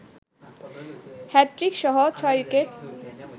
হ্যাটট্রিকসহ ৬ wicket